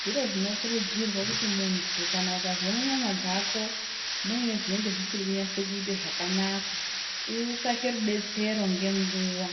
Zvirozvinokurudzirwa kuti muntu ukazwa munyama dzako muine musiri kuita zvakanaka utsvake rudetsero ngenguva